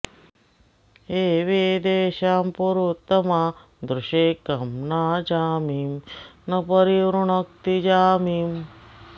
एवेदेषा पुरुतमा दृशे कं नाजामिं न परि वृणक्ति जामिम्